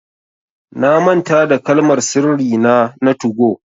Na manta da Kalmar sirri nà na 2go.